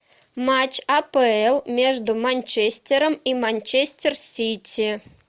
матч апл между манчестером и манчестер сити